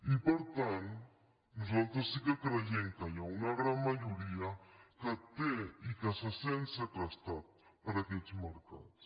i per tant nosaltres sí que creiem que hi ha una gran majoria que té i que se sent segrestada per aquests mercats